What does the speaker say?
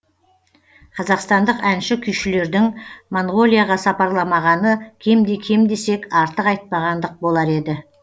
қазақстандық әнші күйшілердің монғолияға сапарламағаны кемде кем десек артық айтпағандық болар еді